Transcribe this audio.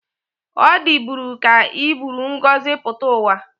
O diburi ka iburu ngozi puta uwa.